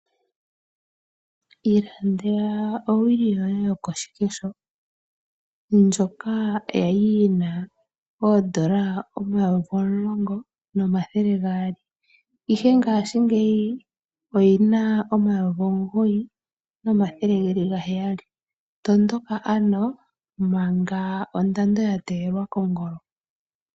Ilandela owili yoye yokoshikesho ndjoka yali yina oodola omayovi omulongo nomathele gaali, ihe ngashingeyi oyina omayovi omugoyi nomathele geli ga heyali tondoka ano manga ondando ya teyelwa kongolo.